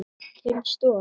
Til stofu.